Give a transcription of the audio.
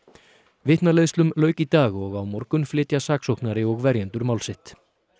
vitnaleiðslum lauk í dag og á morgun flytja saksóknari og verjendur mál sitt